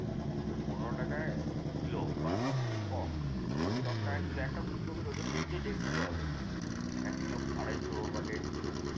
ওই পনেরো টাকায় কিলো বা তার থেকে কম। দশটাকায় একটা ফুলকপির ওজন নিশ্চয়ই দেড় কিলো হবে। এক কিলো আড়াইশো বা দেড় কিলো।